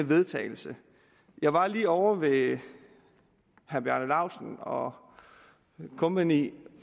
vedtagelse jeg var lige ovre ved herre bjarne laustsen og kompagni